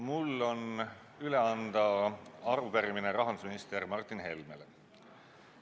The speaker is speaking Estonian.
Mul on üle anda arupärimine rahandusminister Martin Helmele.